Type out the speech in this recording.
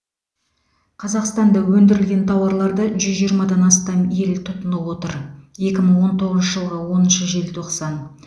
қазақстанда өндірілген тауарларды жүз жиырмадан астам ел тұтынып отыр екі мың он тоғызыншы жылғы оныншы желтоқсан